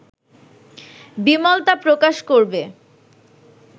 বিমল তা প্রকাশ করবে